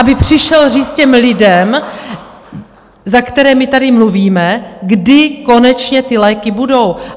Aby přišel říct těm lidem, za které my tady mluvíme, kdy konečně ty léky budou?